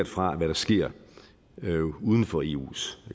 fra hvad der sker uden for eus